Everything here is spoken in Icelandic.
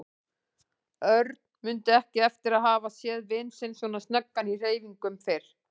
Örn mundi ekki eftir að hafa séð vin sinn svo snöggan í hreyfingum fyrr.